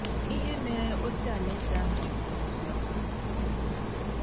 Ihe Mere Ozi Alaeze ahụ Ji Bụrụ Ozi Ọma